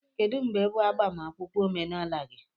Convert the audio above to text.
Kedu mgbe bụ agbamakwụkwọ omenala gị?